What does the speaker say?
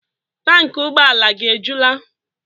Tanki ụgbọala gị ejula?